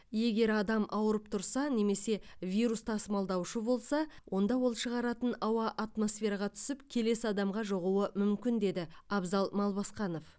егер адам ауырып тұрса немесе вирус тасымалдаушы болса онда ол шығаратын ауа атмосфераға түсіп келесі адамға жұғуы мүмкін деді абзал малбасқанов